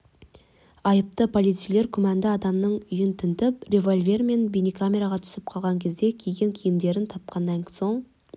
айыпты полицейлер күмәнді адамның үйін тінтіп револьвер мен бейнекамераға түсіп қалған кезде киген киімдерін тапқаннан соң